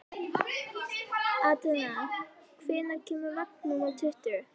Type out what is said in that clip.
Atena, hvenær kemur vagn númer tuttugu?